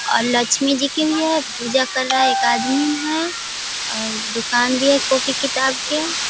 और लक्ष्मी जी की भी है पूजा कर रहा है एक आदमी है और दुकान भी है कॉपी किताब के --